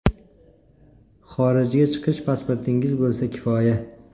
Xorijga chiqish pasportingiz bo‘lsa kifoya.